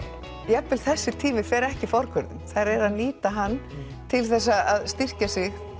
jafnvel þessi tími fer ekki forgörðum þær eru að nýta hann til þess að styrkja sig